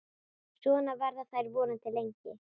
Svona verða þær vonandi lengi.